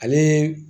Ale